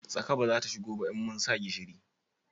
Tsaka ba za ta shigo ba in mun sa gishiri